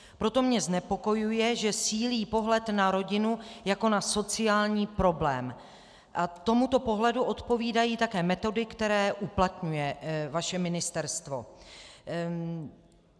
Proto mě znepokojuje, že sílí pohled na rodinu jako na sociální problém, a tomuto pohledu odpovídají také metody, které uplatňuje vaše ministerstvo.